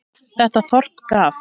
Þetta þorp gaf